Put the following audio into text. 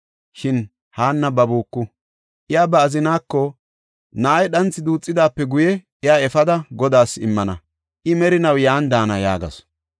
Shin Haanna babuku. Iya ba azinaako, “Na7ay dhanthi duuthidaape guye, iya efada, Godaas immana; I merinaw yan daana” yaagasu.